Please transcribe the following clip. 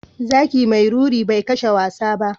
Zaki mai ruri bai kashe wasa ba.